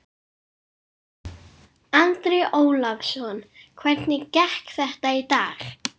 Andri Ólafsson: Hvernig gekk þetta í dag?